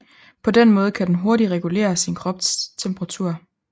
På den måde kan den hurtigt regulere sin kropstemperatur